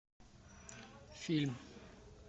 фильм